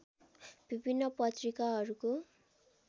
विभिन्न पत्रिकाहरूको